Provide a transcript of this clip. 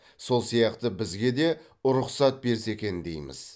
сол сияқты бізге де рұқсат берсе екен дейміз